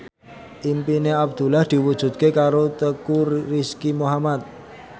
impine Abdullah diwujudke karo Teuku Rizky Muhammad